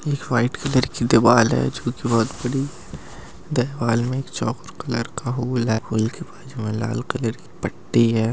एक white colour की दीवार है जो की बहुत बड़ी हैं दीवार में एक चारकोल कलर का हॉल है हॉल के बाजु में लाल कलर की पट्टी है ।